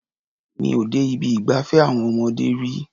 Mi ò dé ibi ìgbafẹ́ àwọn ọmọdé rí.